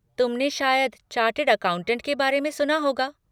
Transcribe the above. तुमने शायद chartered accountant के बारे में सुना होगा।